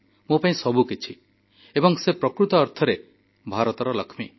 ମୋ ପାଇଁ ସବୁକିଛି ଏବଂ ସେ ପ୍ରକୃତ ଅର୍ଥରେ ଭାରତର ଲକ୍ଷ୍ମୀ